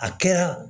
A kɛra